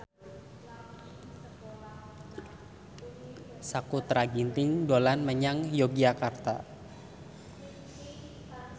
Sakutra Ginting dolan menyang Yogyakarta